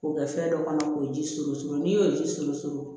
K'o kɛ fɛn dɔ kɔnɔ k'o ji surun surun n'i y'o ji surusun